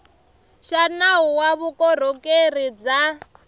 xa nawu wa vukorhokeri bya